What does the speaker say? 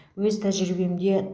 өз тәжірибемде